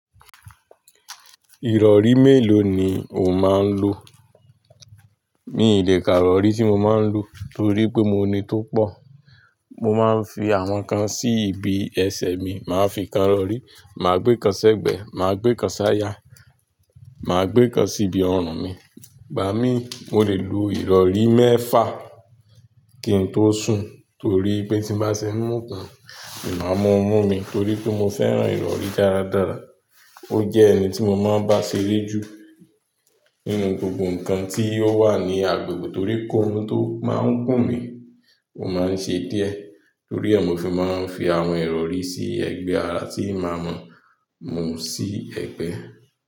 Ìrọ̀rí mélòó ni o máa ń lo? Mi ì lè ká ìrọ̀rí tí mo máa ń lo torí pé mo ní tó pọ̀. Mo máa ń fi àwọn kan sí ibi ẹsẹ̀ mi, màá fi kan lọ rí, màá gbé kan sẹ́gbẹ̀ẹ́, màá gbé kan s'áya, màá gbé kan sí ibi ọrùn mi. Gba mí, mo lè lo ìrọ̀rí mẹ́fà kí n tó sùn torí pé tí bá ṣe mú kan, ma máa mú mí torí pé mo fẹ́ràn ìrọ̀rí dáradára. Ó jẹ́ ẹni tí mo máa ń bá ṣeré jù nínú gbogbo nǹkan tí ó wà ní agbègbè torí pé koorun tó máa ń kùn mí, ó máa ń ṣe díẹ̀ torí e ni mofi máà ń fi àwọn ìrọ̀rí sí ẹgbẹ́ ara tí máa mú sí ẹgbẹ́.